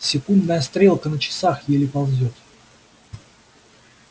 секундная стрелка на часах еле ползёт